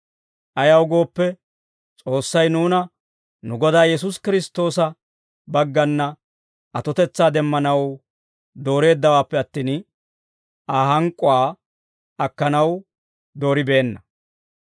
Ayaw gooppe, S'oossay nuuna nu Godaa Yesuusi Kiristtoosa baggana atotetsaa demmanaw dooreeddawaappe attin, Aa hank'k'uwaa akkanaw dooribeenna.